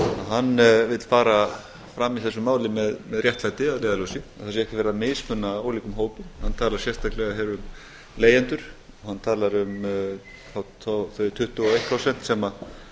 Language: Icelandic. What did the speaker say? að hann vill fara fram í þessu máli með réttlæti að leiðarljósi það sé ekki verið að mismuna ólíkum hópum hann talar sérstaklega um leigjendur og hann talar um þau tuttugu og eitt prósent sem